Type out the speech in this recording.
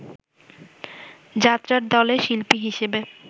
যাত্রার দলে শিল্পী হিসেবে